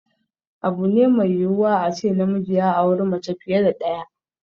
Abu ne mai yiwuwa a ce namiji ya auri mace fiye da ɗaya.